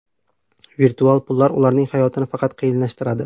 Virtual pullar ularning hayotini faqat qiyinlashtiradi”.